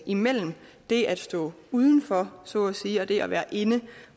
imellem det at stå uden for så at sige og det at være inde